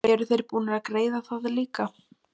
Eru þeir búnir að greiða það líka?